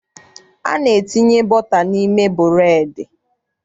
A na-etinye bọta n'ime bụreedị.